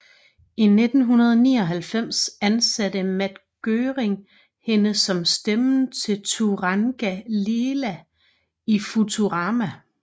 I 1999 ansatte Matt Groening hende som stemmen til Turanga Leela i Futurama